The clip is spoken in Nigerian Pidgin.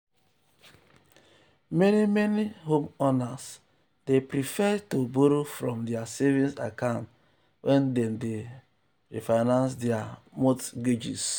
meni meni homeowners dey prefer to borrow from dia savings account wen dem dey refinance dia mortgages.